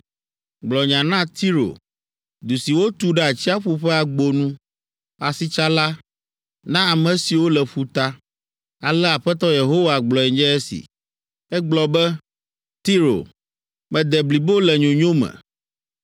Gblɔ nya na Tiro, du si wotu ɖe atsiaƒu ƒe agbo nu, asitsala, na ame siwo le ƒuta. Alea Aƒetɔ Yehowa gblɔe nye esi: “Ègblɔ be, ‘Tiro, mede blibo le nyonyo me.’